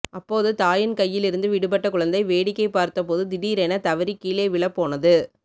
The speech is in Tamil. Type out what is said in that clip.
அப்போது தாயின் கையில் இருந்து விடுபட்ட குழந்தை வேடிக்கை பார்த்தபோது திடீரென தவறி கீழே விழப்போனது